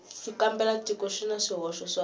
xitsalwambiko xi na swihoxo swa